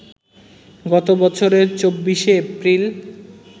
গত বছরের ২৪শে এপ্রিল